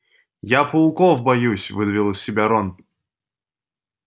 я пауков боюсь выдавил из себя рон